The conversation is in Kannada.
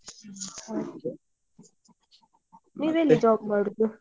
ಹಾ ಹಾಗೆ ನೀವ್ ಎಲ್ಲಿ job ಮಾಡುದು.